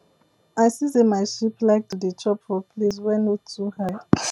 i see say my sheep like to dey chop for place wey no too high